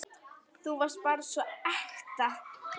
Þú varst bara svo ekta.